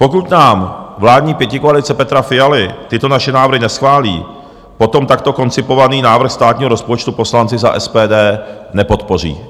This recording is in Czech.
Pokud nám vládní pětikoalice Petra Fialy tyto naše návrhy neschválí, potom takto koncipovaný návrh státního rozpočtu poslanci za SPD nepodpoří.